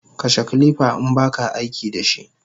Kashe kilifa inbaka aikidashi!